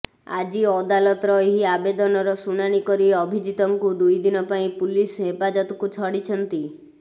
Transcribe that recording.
ଆଜି ଅଦାଲତର ଏହି ଆବେଦନର ଶୁଣାଣି କରି ଅଭିଜିତଙ୍କୁ ଦୁଇଦିନ ପାଇଁ ପୁଲିସ ହେପାଜତକୁ ଛାଡ଼ିଛନ୍ତି